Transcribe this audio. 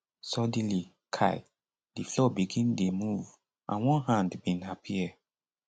suddenly um di floor begin dey move and one hand bin appear